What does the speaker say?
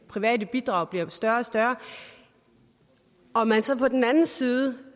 private bidrag bliver større og større og man så på den anden side